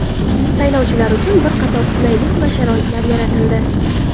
Saylovchilar uchun bir qator qulaylik va sharoitlar yaratildi.